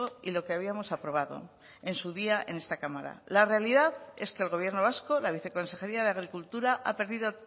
y lo que habíamos aprobado en su día en esta cámara la realidad es que el gobierno vasco la viceconsejeria de agricultura ha perdido